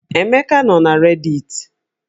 Emeka nọ na rediti